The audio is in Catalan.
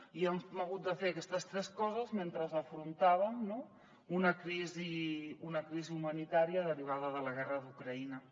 i hem hagut de fer aquestes tres coses mentre afrontàvem una crisi humanitària derivada de la guerra d’ucraïna